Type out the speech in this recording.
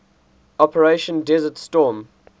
operation desert storm